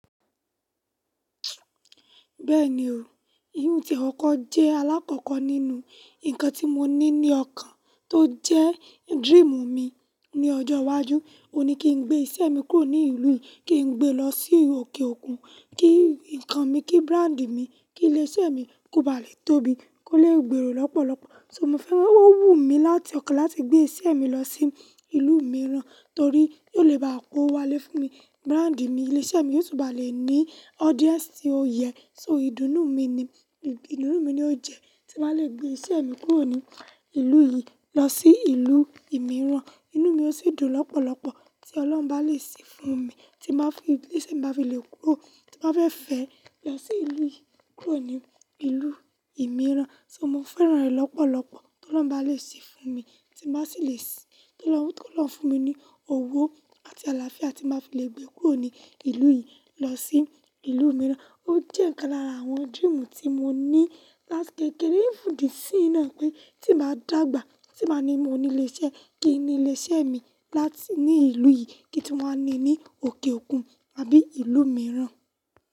Bẹ́ẹ̀ni o, irun tie kọkọ̀ jẹ́ alákọ̀ọ́kọ́ nínú ǹkan tí mo ní ní ọkàn tó jẹ́ dream mi ní ọjọ́ iwájú. Ó ní kí n gbé iṣẹ́ mi kúrò ní ìlú yìí, kí n gbé lọ sí òkè òkun, kí ǹkan mi, kí brand mi, kí ilé iṣẹ́ mi kó ba lè tóbi, kó lè gbèrò lọ́pọ̀lọpọ̀. So mo fẹ́ràn ó wù mí láti ọkàn láti gbé iṣẹ́ mi lọ sí ìlú mìíràn torí yóò lè bá powo wá lé fún mi. Brand mi, ilé iṣẹ́ mi yóò túbọ̀ lè ní audience tí ó yẹ. So ìdùnnú mi ni, ìdùnnú mi ni ó jẹ tí màá le gbé iṣẹ́ mi kúrò ní ìlú yìí lọ sí ìlú mìíràn. Inú mi ó sì dùn lọ́pọ̀lọpọ̀ tí Ọlọ́run bá lè se fún mi tí màá fi ilé iṣẹ́ mi bá fi lè kúrò tí màá fẹ́ fẹ́ lọ sí ìlú yìí kúrò ní ìlú mìíràn. So mo fẹ́ràn rẹ̀ lọ́pọ̀lọpọ̀ tí Ọlọ́run bá lè sì fún mi tí màá sì le sì, kí Ọlọ́run fún mi ní owó àti àlàáfíà tí màá fi le gbé kúrò ní ìlú yìí lọ sí ìlú mìíràn. Ó jẹ́ nkan lára àwọn dream tí mo ní láti kékeré even dí isin naa pè tí màá dàgbà tí màá ní mo ní ilé iṣẹ́, kí ni ilé iṣẹ́ mi láti ní ìlú yìí kí n wá ni ní òkè òkun àbí ìlú mìíràn.